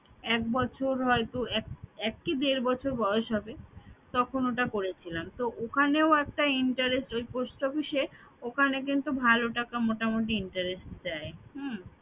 এক বছর হয়তো এক কি দেড় বছর বয়স হবে তখন ওটা করেছিলাম তো ওখানেও একটা interest ওই post office এ ওখানে কিন্তু ভালো টাকা মোটামুটি interest দেয় হম